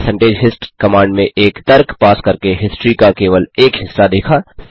फिर percentage hist command में एक तर्क पास करके हिस्ट्री का केवल एक हिस्सा देखा